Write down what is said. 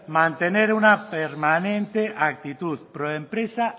mantener una permanente actitud proempresa